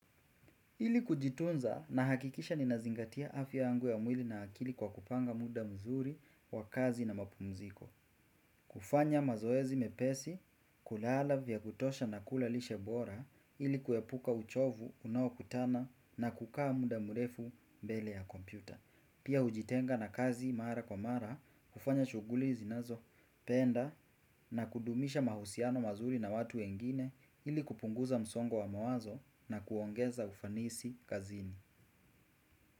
Ili kujitunza nahakikisha ninazingatia afya yangu ya mwili na akili kwa kupanga muda mzuri wa kazi na mapumziko. Kufanya mazoezi mepesi, kulala vya kutosha na kula lishe bora ili kuepuka uchovu, unaokutana na kukaa muda murefu mbele ya kompyuta. Pia hujitenga na kazi mara kwa mara, hufanya shughuli zinazopenda na kudumisha mahusiano mazuri na watu wengine ili kupunguza msongo wa mawazo na kuongeza ufanisi kazini.